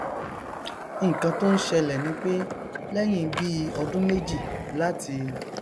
nnkan tó n ṣẹlẹ nipé lẹhìn bíi ọdún méjì láti